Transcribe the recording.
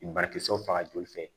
Banakisɛw faga joli fɛ